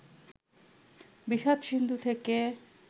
বিষাদ-সিন্ধু থেকে